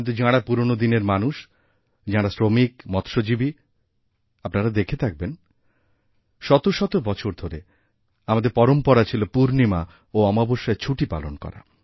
কিন্তুযাঁরা পুরনো দিনের মানুষ যাঁরা শ্রমিক মৎস্যজীবী আপনারা দেখে থাকবেন শত শত বছরধরে আমাদের পরম্পরা ছিল পূর্ণিমা ও অমাবস্যায় ছুটি পালন করা